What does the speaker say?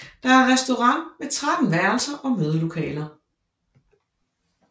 Der er restaurant med 13 værelser og mødelokaler